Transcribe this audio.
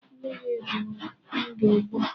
Mmiri bụ ndụ ugbu a.